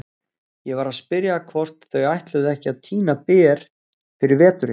Ég var að spyrja hvort þau ætluðu ekki að tína ber fyrir veturinn.